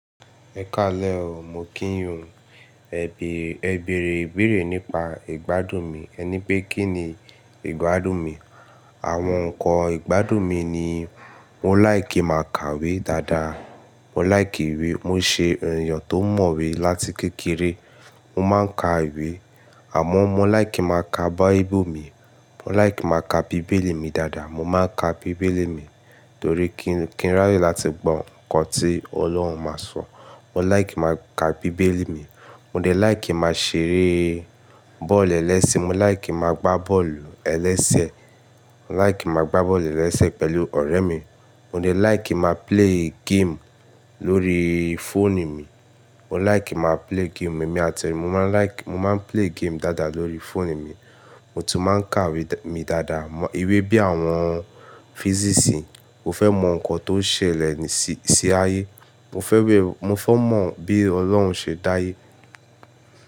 Ẹ ka lẹ́, ò mọ̀ kí yin ó Ẹ bèrè, ẹ bèrè ìbéèrè nípa ìgbádùn mi. Ẹ ní pé kí ni ìgbádùn mi. Àwọn nǹkan ìgbádùn mi ni mo láìkí kin máa kàwé dáadáa. Mo láìkí ìwé. Mo ṣe èèyàn tó mọ̀wé láti kékeré. Mo máa ń ka ìwé àmọ́ mo láìkí máa ka báíbù mi. Mo láìkí máa ka bíbélì mi dáadáa. Mo máa ń ka bíbélì mi torí kí n ránye láti gbọ́ nǹkan tí Ọlọ́run máa sọ. Mo láìkí máa ka bíbélì mi. Mo de láìkí kin máa ṣeré bọ́ọ̀lù ẹlẹ́sẹ̀. Mo láìkí máa gbá bọ́ọ̀lù ẹlẹ́sẹ̀. Mo láìkí máa gbá bọ́ọ̀lù ẹlẹ́sẹ̀ pẹ̀lú ọ̀rẹ́ mi. Mo de láìkí máa play game lórí phone mi. Mo láìkí máa play game. Èmi àti ọ̀rẹ́ mi a máa like-- mo máa play game dáadáa lórí phone mi. Mo tún máa ń kàwé mi dáadáa. Ìwé bí i àwọn physics. Mo fẹ́ mọ nǹkan tó ń ṣẹlẹ̀ sí, sí ayé. Mo fẹ́ wé-- mo fẹ́ mọ bí Ọlọ́run ṣe dá ayé.